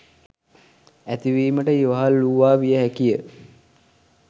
ඇතිවීමට ඉවහල් වූවා විය හැකි ය.